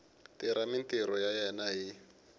tirha mintirho ya yena hi